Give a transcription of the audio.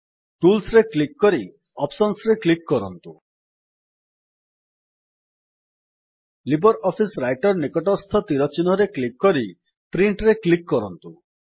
tools ରେ click କରି gt options ରେ କ୍ଲିକ୍ କରନ୍ତୁ ଲିବ୍ରିଅଫିସ୍ ରାଇଟର ନିକଟସ୍ଥ ତୀର ଚିହ୍ନରେ କ୍ଲିକ୍ କରି Printରେ କ୍ଲିକ୍ କରନ୍ତୁ